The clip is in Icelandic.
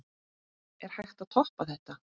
Er hægt að toppa þetta?